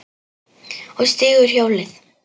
Og stígur hjólið.